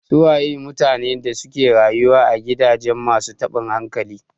Su waye mutanen da suke rayuwa a gidajen masu taɓin hankali?